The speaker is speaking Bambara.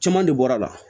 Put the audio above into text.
Caman de bɔra a la